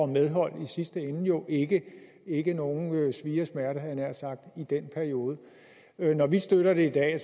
medhold i sidste ende jo ikke lide nogen svie og smerte havde jeg nær sagt i den periode når vi støtter det i dag er